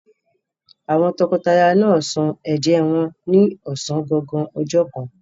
Àwọn tọkọtaya náà sọ ẹ̀jẹ́ wọn ní ọ̀sán gangan ọjọ́ kan.